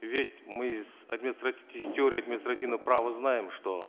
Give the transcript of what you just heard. ведь мы из теории административного права знаем что